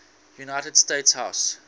united states house